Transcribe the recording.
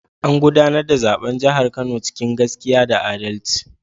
An gudanar da zaben jihar Kano cikin gaskiya da adalci.